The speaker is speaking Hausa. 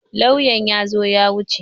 Lauyan ya zo ya wuce.